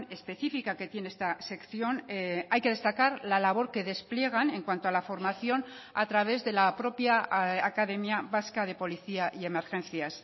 específica que tiene esta sección hay que destacar la labor que despliegan en cuanto a la formación a través de la propia academia vasca de policía y emergencias